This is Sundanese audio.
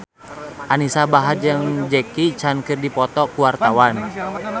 Anisa Bahar jeung Jackie Chan keur dipoto ku wartawan